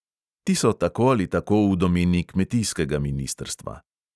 Ti so tako ali tako v domeni kmetijskega ministrstva.